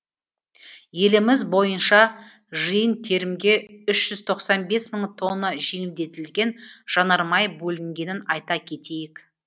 еліміз бойынша жиын терімге үш тоқсан бес мың тонна жеңілдетілген жанармай бөлінгенін айта кетейік